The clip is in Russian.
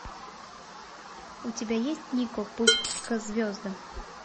у тебя есть нико путь к звездам